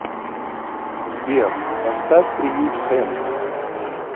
сбер поставь приют хэнси